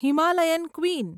Himalayan queen